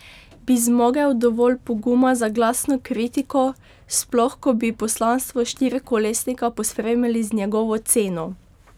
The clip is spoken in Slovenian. Bi zmogel dovolj poguma za glasno kritiko, sploh ko bi poslanstvo štirikolesnika pospremili z njegovo ceno?